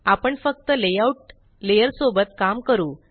आपण फक्त layout layer सोबत काम करू